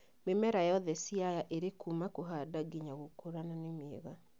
Mĩmera yothe Siaya ĩrĩ kuuma kũhanda nginya gũkũra na nĩ mĩega